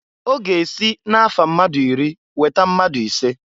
Ọ ga-esi na-afa mmadụ iri weta mmadụ ise.